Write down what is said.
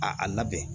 A a labɛn